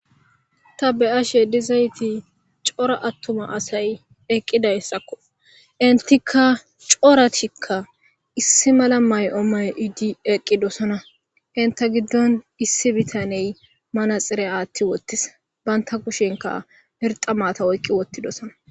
ta be7ashe dizayti cora attuma asay eqqidayssakko entika coratikka issi mala may7o may iddi eqqidosona inta giddon issi bitaney manaxire aatti wottis banta kushenka irxamata oyqqi wottidosona